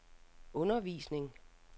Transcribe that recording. undervisning